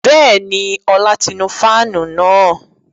Bẹ́ẹ̀ni, Ọlá ti nu fáànù náà